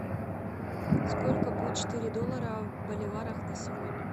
сколько будет четыре доллара в боливарах на сегодня